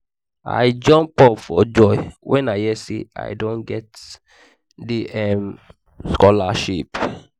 i jump up for joy wen i hear say i don get the um scholarship